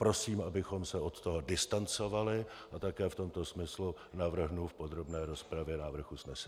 Prosím, abychom se od toho distancovali, a také v tomto smyslu navrhnu v podrobné rozpravě návrh usnesení.